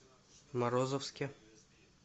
морозовске